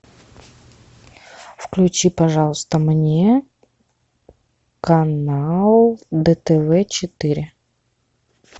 включи пожалуйста мне канал дтв четыре